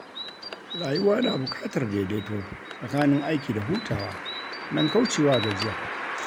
Rayuwa na bukatar daidaito tsakanin aiki da hutawa, don kaucewa gajiya.